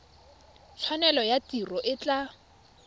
tshwanelo ya tiro e tla